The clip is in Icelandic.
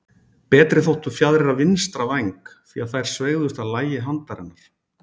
Betri þóttu fjaðrir af vinstra væng, því að þær sveigðust að lagi handarinnar.